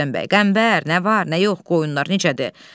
Rüstəm bəy: Qəmbər, nə var, nə yox, qoyunlar necədir?